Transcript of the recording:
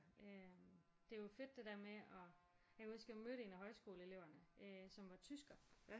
Øh det er jo fedt det der med at jeg kan huske jeg mødte en af højskoleeleverne som var tysker